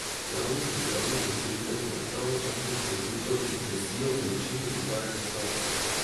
Javnost in uporabnike storitev pa naj pravočasno in celovito obvestijo o načinu izvajanja stavke.